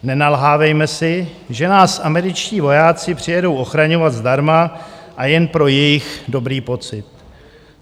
Nenalhávejme si, že nás američtí vojáci přijedou ochraňovat zdarma a jen pro jejich dobrý pocit.